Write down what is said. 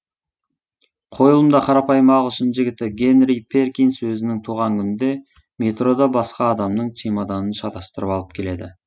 қойылымда қарапайым ағылшын жігіті генри перкинс өзінің туған күнінде метрода басқа адамның чемоданын шатастырып алып келеді